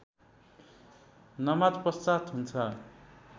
नमाजपश्चात् हुन्छ